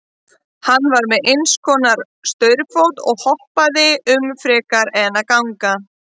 Hann var með einhvers konar staurfót og hoppaði um frekar en að ganga.